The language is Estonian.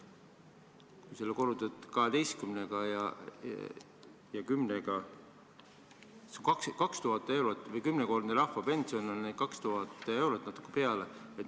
Kui see korrutada kümnega, siis saame umbes 2000 eurot: kümnekordne rahvapension on 2000 eurot ja natuke peale.